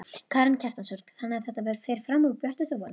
Karen Kjartansdóttir: Þannig að þetta fer fram úr björtustu vonum?